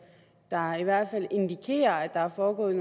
der i hvert fald indikerer at der er foregået